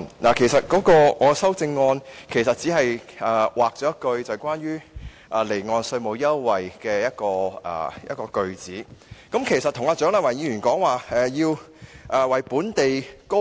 我的修正案其實只刪除了有關離岸稅務支援的措辭，與蔣麗芸議員提到的"為本地高